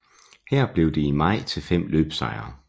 Her blev det i maj til fem løbssejre